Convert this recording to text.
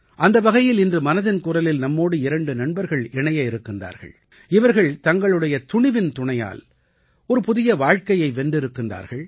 அந்த வகையில் இன்று மனதின் குரலில் நம்மோடு இரண்டு நண்பர்கள் இணைய இருக்கின்றார்கள் இவர்கள் தங்களுடைய துணிவின் துணையால் ஒரு புதிய வாழ்க்கையை வென்றிருக்கிறார்கள்